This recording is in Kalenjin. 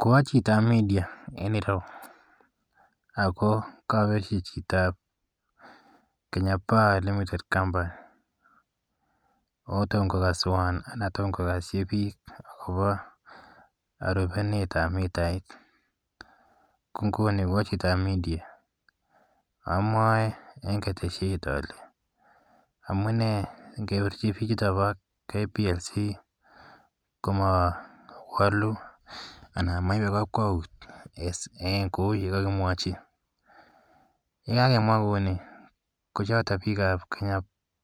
Ko a chito ap media enerou ako kakerchi chito ap Kenya Power Limited Company ako toma kokaswan anan toma kokaschi pik akopa rupenet ap mitait. Ko nguni ko a chito ap media amwae eng' keteshiet ale, " Amunee ngepirchi pichuto pa KPLC ko ma walu anan ko ma ipe kakwaut age tugul eng' kou ye kakimwachi". Ye kakemwa kou ni ko chotok pik ap Kenya